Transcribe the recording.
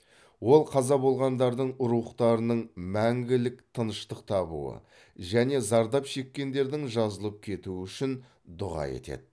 ол қаза болғандардың рухтарының мәңгілік тыныштық табуы және зардап шеккендердің жазылып кетуі үшін дұға етеді